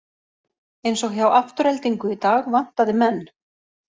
Eins og hjá Aftureldingu í dag vantaði menn.